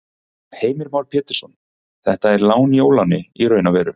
Heimir Már Pétursson: Þetta er lán í óláni í raun og veru?